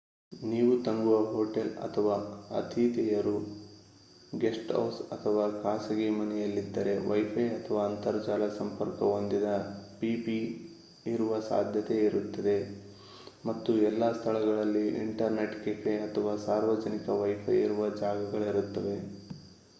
ನೀವು ತಂಗುವ ಹೊಟೇಲ್ ಅಥವಾ ಅತಿಥೇಯರು ಗೆಸ್ಟ್ ಹೌಸ್ ಅಥವಾ ಖಾಸಗಿ ಮನೆಯಲ್ಲಿದ್ದರೆ ವೈಫೈ ಅಥವಾ ಅಂತರ್ಜಾಲ ಸಂಪರ್ಕ ಹೊಂದಿದ ಪಿಸಿ ಇರುವ ಸಾಧ್ಯತೆ ಇರುತ್ತದೆ ಮತ್ತು ಎಲ್ಲ ಸ್ಥಳಗಳಲ್ಲೂ ಇಂಟರ್ನೆಟ್ ಕೆಫೆ ಅಥವಾ ಸಾರ್ವಜನಿಕ ವೈಫೈ ಇರುವ ಜಾಗಗಳಿರುತ್ತವೆ